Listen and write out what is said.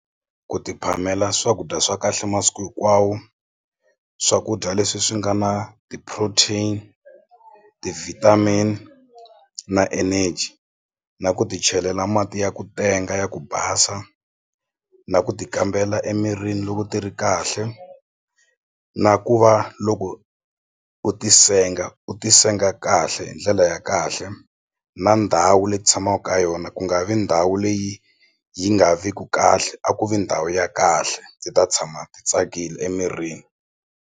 Ku ti phamela swakudya swa kahle masiku hinkwawo swakudya leswi swi nga na ti-protein, ti-vitamin na energy na ku ti chelela mati ya ku tenga ya ku basa na ku ti kambela emirini loko ti ri kahle na ku va loko u ti senga u ti senga kahle hi ndlela ya kahle na ndhawu leyi ti tshamaku ka yona ku nga vi ndhawu leyi yi nga vi ku kahle a ku vi ndhawu ya kahle ti ta tshama ti tsakile emirini.